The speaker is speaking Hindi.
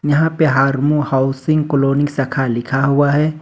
यहां पे हारमू हाउसिंग कलोनी शाखा लिखा हुआ है।